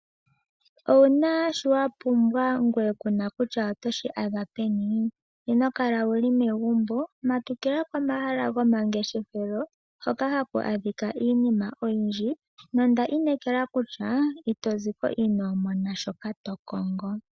Owuna shoka wa pumbwa ndele kuna kutya otoshi adha peni ino kala wuli megumbo matukila kehala lyomangeshefelo hoka haku kala iinim oyindji nondi inekele kutya ito ziko inoo mona shoka to kongo.